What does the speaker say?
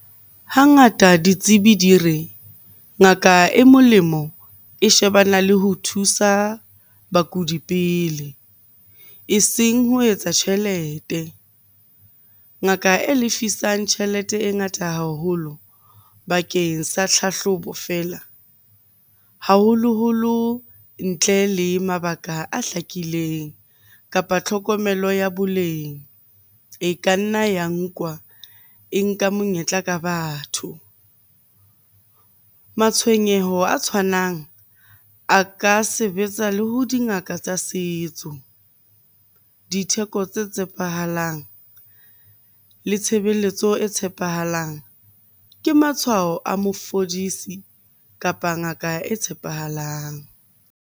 Hangata ditsebi di re, ngaka e molemo e shebana le ho thusa bakudi pele eseng ho etsa tjhelete. Ngaka e lefisang tjhelete e ngata haholo bakeng sa tlhahlobo feela, haholoholo ntle le mabaka a hlakileng kapa tlhokomelo ya boleng e ka nna ya nkwa e nka monyetla ka batho. Matshwenyeho a tshwanang a ka sebetsa le ho dingaka tsa setso, ditheko tse tshepahalang, le tshebeletso e tshepahalang ke matshwao a mo fodisi di kapa ngaka e tshepahalang.